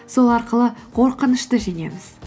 сол арқылы қорқынышты жеңеміз